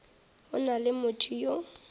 go na le motho yo